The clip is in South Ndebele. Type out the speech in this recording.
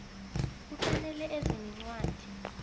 kufanele eze nencwadi